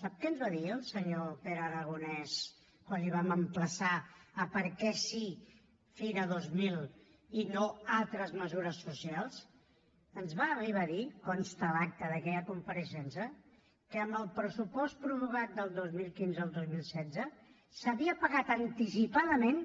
sap què ens va dir el senyor pere aragonès quan el vam emplaçar a per què sí fira dos mil i no altres mesures socials ens va arribar a dir consta a l’acta d’aquella compareixença que amb el pressupost prorrogat del dos mil quinze al dos mil setze s’havien pagat anticipadament